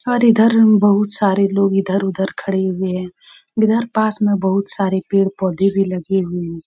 और इधर म बहुत सारे लोग इधर उधर खड़े हुए हैं| इधर पास में बहुत पेड पौधे भी लगे हुए हैं।